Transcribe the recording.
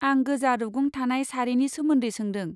आं गोजा रुगुं थानाय सारिनि सोमोन्दै सोंदों।